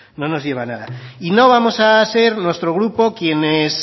no nos lleva a nada y no vamos a ser nuestro grupo quienes